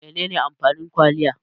Menene amfanin kwaliya?